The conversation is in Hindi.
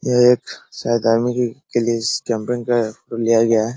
यह एक शायद आर्मी के के लिए के लिया गया है।